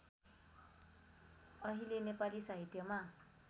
अहिले नेपाली साहित्यमा